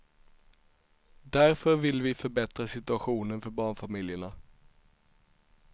Därför vill vi förbättra situationen för barnfamiljerna.